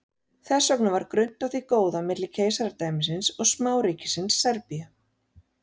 Þess vegna var grunnt á því góða milli keisaradæmisins og smáríkisins Serbíu.